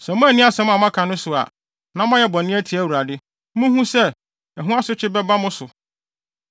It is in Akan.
“Sɛ moanni asɛm a moaka no so a, na moayɛ bɔne atia Awurade, munhu sɛ, ɛho asotwe bɛba mo so.